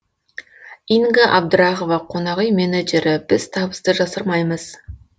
инга абдрахова қонақүй менеджері біз табысты жасырмаймыз